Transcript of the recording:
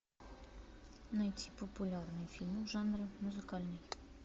найти популярные фильмы жанра музыкальный